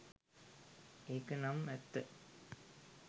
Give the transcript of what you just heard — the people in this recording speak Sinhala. ඒක නම් ඇත්ත.